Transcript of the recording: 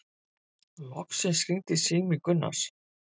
Loksins hringdi sími Gunnars.